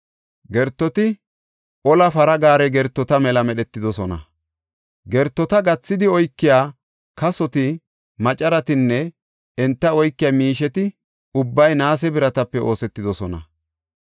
Gertoti ola para gaare gertota mela medhetidosona; gertota gathidi oykiya kasoti, macaratinne enta oykiya miisheti ubbay naase biratape oosetidosona.